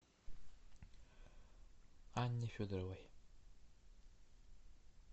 анне федоровой